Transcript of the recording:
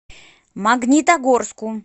магнитогорску